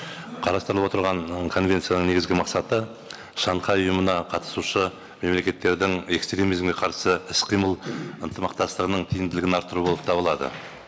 қарастырылып отырған конвенцияның негізгі мақсаты шанхай ұйымына қатысушы мемлекеттердің экстремизмге қарсы іс қимыл ынтымақтастығының тиімділігін арттыру болып табылады